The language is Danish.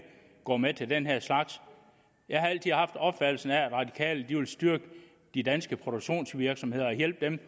går med til den her slags jeg har altid haft opfattelsen af at radikale ville styrke de danske produktionsvirksomheder og hjælpe dem